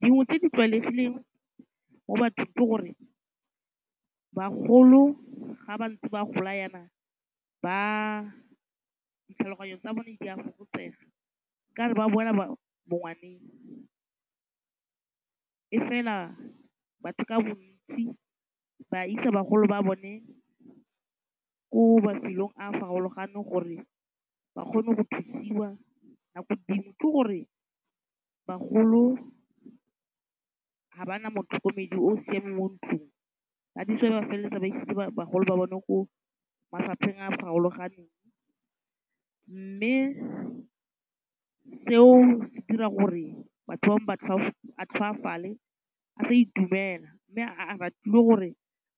Dingwe tse di tlwaelegileng mo bathong ke gore bagolo ga ba ntse ba gola jaana, ditlhaloganyo tsa bone di a fokotsega ka re ba boela bongwaneng. Fela batho ka bontsi ba isa bagolo ba bone ko mafelong a a farologaneng gore ba kgone go thusiwa nako dingwe. Ke gore bagolo ga ba na motlhokomedi o siameng mo ntlong. That is why ba felelletsa ba isetse bagolo ba bone ko mafapheng a a farologaneng. Mme seo se dira gore batho bangwe ba tlhoafale a sa itumela. Mme a ratile gore